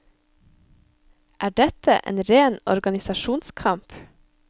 Er dette en ren organisasjonskamp?